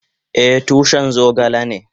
Eh, tushin zogale ne.